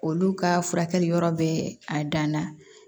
Olu ka furakɛli yɔrɔ bɛ a dan na